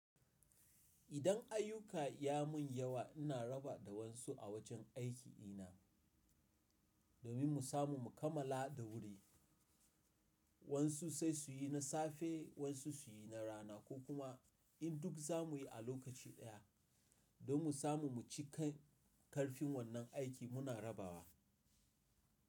Idan ayyuka ya mun yawa ina raba da wasu a wajen aiki ina, domin mu samu mu kammala da wuri. Wasu sai su yi na safe, wasu su yi na rana ko kuma in duk za mu yi a lokaci daya don mu samu mu cika karfin wannan aikin muna rabawa.